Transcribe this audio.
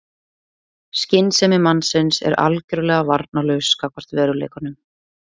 Skynsemi mannsins er algjörlega varnarlaus gagnvart veruleikanum.